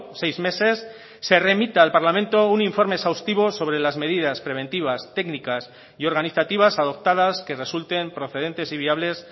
seis meses se remita al parlamento un informe exhaustivo sobre las medidas preventivas técnicas y organizativas adoptadas que resulten procedentes y viables